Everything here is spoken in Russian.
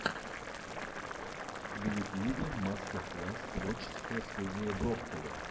в ютьюбе мастер класс творческая студия брокколи